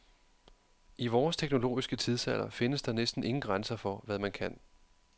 I vores teknologiske tidsalder findes der næsten ingen grænser for, hvad man kan.